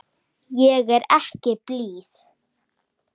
Ég er ekki blíð.